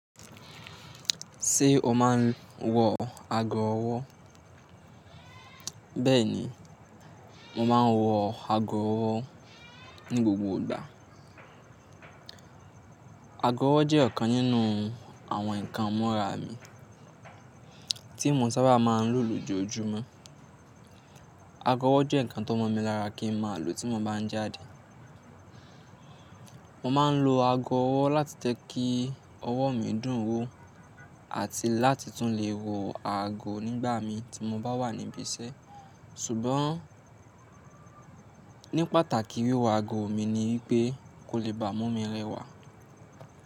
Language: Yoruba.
Ṣé o máa ń wọ ago ọwọ́? Bẹ́ẹ̀ni, mo máa ń wọ ago ọwọ́ ní gbogbo ìgbà. Ago ọwọ́ jẹ́ ọ̀kan nínú àwọn nǹkan imura mi tí mo sábà máa ń lò lójoojúmọ́. Ago ọwọ́ jẹ́ nǹkan tó mọ̀ mí lára kí n máa lò tí mo bá ń jáde. Mo máa ń lo ago ọwọ́ láti jẹ kí ọwọ́ mi dùn wó àti láti tún lè wo ààgó nígbà mí ti mo bá wà níbi iṣẹ́. Sùgbọ́n ní pàtàkì wíwọ ago mi ni wí pé kò lè bà mu mi rẹwà.